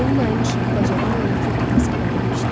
Dolunayın işığı bacadan yanakı otağa səpələnmişdi.